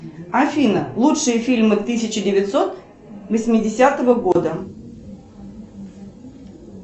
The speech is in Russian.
афина лучшие фильмы тысяча девятьсот восьмидесятого года